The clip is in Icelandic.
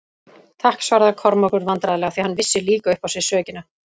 Takk, svaraði Kormákur vandræðlega, því hann vissi líka upp á sig sökina.